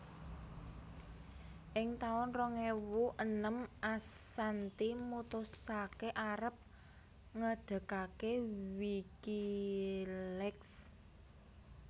Ing taun rong ewu enem Assanti mutusaké arep ngedegaké WikiLeaks